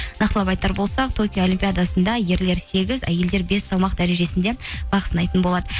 нақтылап айтар болсақ токио олимпиадасында ерлер сегіз әйелдер бес салмақ дәрежесінде бақ сынайтын болады